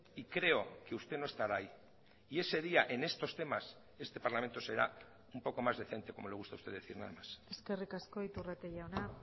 y creo que usted no estará ahí y ese día en estos temas este parlamento será un poco más decente como le gusta a usted decir nada más eskerrik asko iturrate jauna